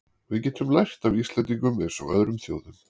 Við getum lært af Íslendingum eins og öðrum þjóðum.